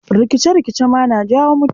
Rikice-rikice ma na jawo mutuwa.